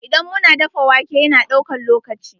Idan mu na dafa wake, ya na daukan lokaci.